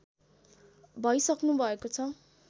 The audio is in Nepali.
भइसक्नुभएको छ